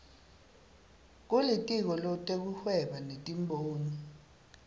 kulitiko letekuhweba netimboni